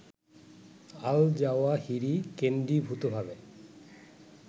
Al Zawahiri কেন্দ্রীভূতভাবে